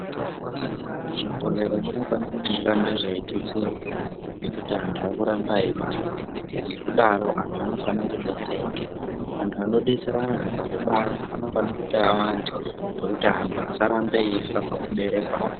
Zvibhohlera zvinofana kuti zvirambe zveitutsirwa ngekuti antu arikuramba eubarwa. Ngekudaro anhu anofana kudetserwa. Antu anodetsera antu pakubara anofana kuti awande kuti antu asarambe eifa pakuberekwa.